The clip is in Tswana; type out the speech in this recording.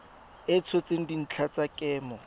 a tshotseng dintlha tsa kemo